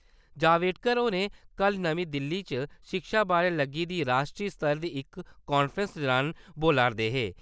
जावडेकर होर कल नमीं दिल्ली च शिक्षा बारै लग्गी दी राश्ट्री सतर दी इक कांफ्रेंस दौरान बोला'रदे हे ।